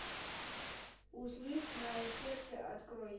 услышь мое сердце открой